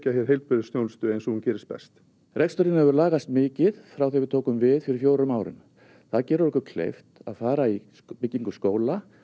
hér heilbrigðisþjónustu eins og hún gerist best reksturinn hefur lagast mikið frá því við tókum við fyrir fjórum árum það gerir okkur kleift að fara í byggingu skóla